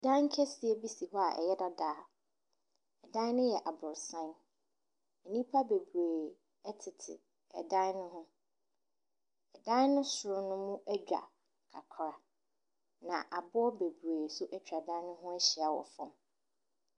Dan kɛseɛ bi si hɔ a ɛyɛ dada. Dan no yɛ aborosan. Nipa bebree ɛtete ɛdan ne ho. Ɛdan ne soro no no edwa kakra na aboɔ bebree so etwa ɛdan no ho ehyia wɔ fɔm.